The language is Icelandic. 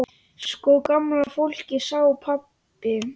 Sko gamla fólkið sagði pabbi.